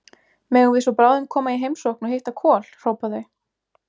Megum við svo bráðum koma í heimsókn og hitta Kol, hrópa þau.